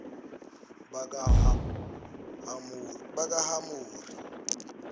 bakahamori